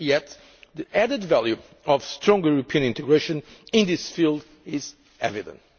Yet the added value of stronger European integration in this field is evident.